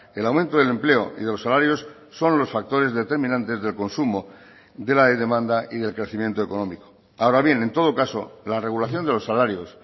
el aumento del empleo y de los salarios son los factores determinantes del consumo de la demanda y del crecimiento económico ahora bien en todo caso la regulación de los salarios